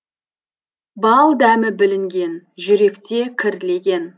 бал дәмі білінген жүректе кірлеген